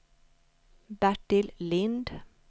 Bertil Lindh